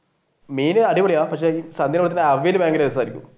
മീൻ അടിപൊളിയാ പക്ഷെ സദ്യയുടെ കൂടെ അവിയൽ ഭയങ്കര രസമായിരിക്കും.